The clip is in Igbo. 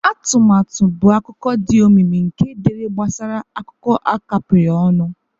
Atụmatụ bụ akụkọ dị omimi nke dere gbasara akụkọ a kapịrị ọnụ.